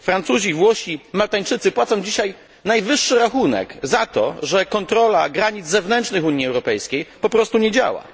Francuzi, Włosi, Maltańczycy płacą dzisiaj najwyższy rachunek za to, że kontrola granic zewnętrznych Unii Europejskiej po prostu nie działa.